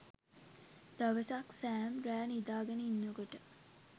දවසක් සෑම් රෑ නිදාගෙන ඉන්නකොට